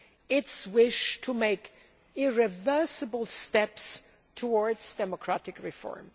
its wish to make irreversible steps towards democratic reform.